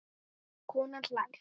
Konan hlær.